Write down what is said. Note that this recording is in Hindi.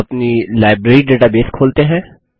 अपनी लाइब्रेरी डेटाबेस खोलते हैं